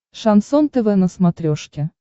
шансон тв на смотрешке